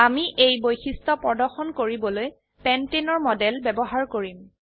আমি এই বৈশিষ্ট্য প্ৰদৰ্শন কৰিবলৈ পেন্টেনৰ মডেল ব্যবহাৰ কৰিম